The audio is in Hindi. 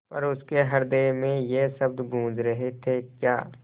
पर उसके हृदय में ये शब्द गूँज रहे थेक्या